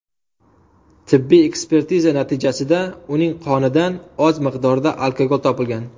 Tibbiy ekspertiza natijasida uning qonidan oz miqdorda alkogol topgilgan.